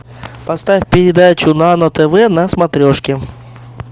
поставь передачу нано тв на смотрешке